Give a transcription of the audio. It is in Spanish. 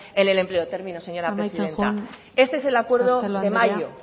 en el empleo termino señora presidenta este es el acuerdo de mayo